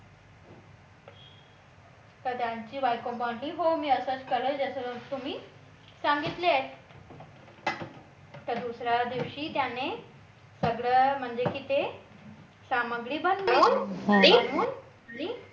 तर त्यांची बायको म्हणाली हो मी असंच करेल जसं तुम्ही सांगितले आहे तर दुसऱ्या दिवशी त्याने सगळं म्हणजे किती सामग्री